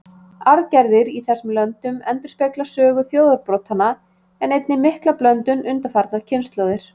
Arfgerðir í þessum löndum endurspegla sögu þjóðarbrotanna, en einnig mikla blöndun undanfarnar kynslóðir.